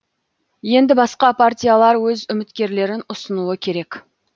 енді басқа партиялар өз үміткерлерін ұсынуы керек